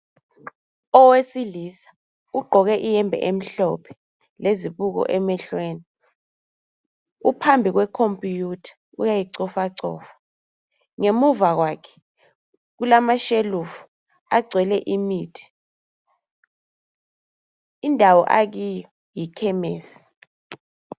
Owesilisa ugqoke ihembe emhlophe, lezibuko emehlweni, uphambi kwe computer, uyayicofacofa. Ngemuva kwakhe kulama shelufu agcwele imithi. Indawo akiyo yi khemesi